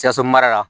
Sikaso mara la